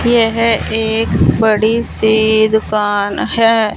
यह एक बड़ी सी दुकान है।